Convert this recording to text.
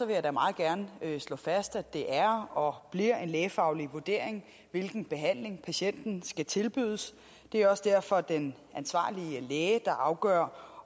jeg da meget gerne slå fast at det er og bliver en lægefaglig vurdering hvilken behandling patienten skal tilbydes det er også derfor den ansvarlige læge der afgør